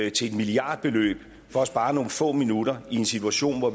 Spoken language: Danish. et milliardbeløb for at spare nogle få minutter i en situation hvor